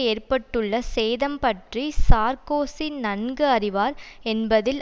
ஏற்பட்டுள்ள சேதம் பற்றி சார்க்கோசி நன்கு அறிவார் என்பதில்